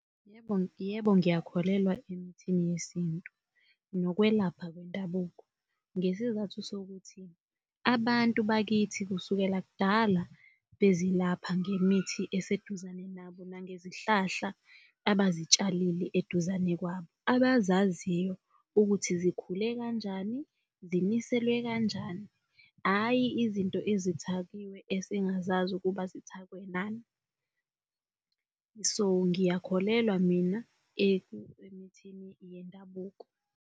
Yebo, yebo, ngiyakholelwa emithini yesintu nokwelapha kwendabuko ngesizathu sokuthi abantu bakithi kusukela kudala bezilapha ngemithi eseduzane nabo nangezihlahla abazitshalile eduzane kwabo abazaziyo ukuthi zikhule kanjani, ziniselwe kanjani, hhayi izinto ezithakiwe esingazazi ukuba zithakwe nani. So ngiyakholelwa mina emithini yendabuko.